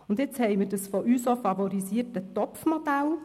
Jetzt haben wir das von uns auch favorisierte «Topfmodell»;